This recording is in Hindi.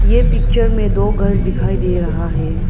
ये पिक्चर में दो घर दिखाई दे रहा है।